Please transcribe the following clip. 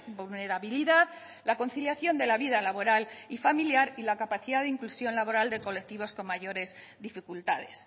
vulnerabilidad la conciliación de la vida laboral y familiar y la capacidad de inclusión laboral de colectivos con mayores dificultades